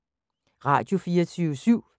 Radio24syv